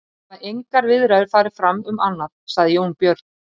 Það hafa engar viðræður farið fram um annað, sagði Jón Björn.